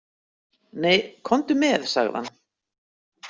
Nei, komdu með, sagði hann.